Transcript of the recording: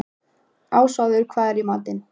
Ásvarður, hvað er í matinn?